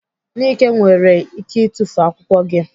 Nike nwere ike itufu akwụkwọ gị.